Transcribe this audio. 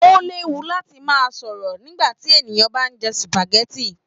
O léwu láti máa sọ̀rọ̀ nígbàtí ènìyàn bá n jẹ supágẹ̀tì.